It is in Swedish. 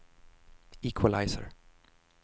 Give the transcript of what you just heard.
equalizer